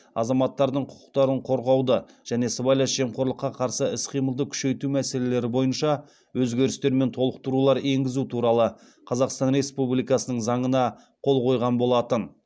азаматтардың құқықтарын қорғауды және сыбайлас жемқорлыққа қарсы іс қимылды күшейту мәселелері бойынша өзгерістер мен толықтырулар енгізу туралы қазақстан республикасының заңына қол қойған болатын